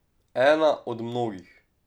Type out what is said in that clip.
Ena od mnogih.